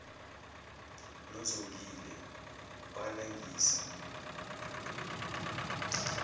nozongile walengisa uplastiki